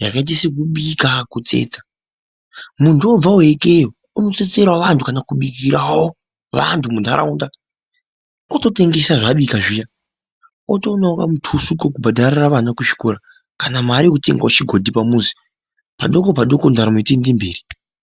yakaite sekubika, kutsetsa. Muntu obvavo ikeyo, unotsetseravo vantu kana kubikirawo vantu muntaraunda ototengesa zvaabika zviya. Otoonawo kamutuso kokubhadharira vana kuzvikora kana mare yekutengawo chigodhi pamuzi. Padoko padoko ndaramo yeitoende mberi.